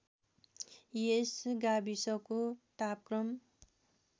यस गाविसको तापक्रम